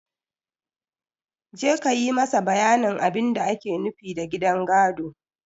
Je ka yi masa bayanin abin da ake nufi da gidan gado!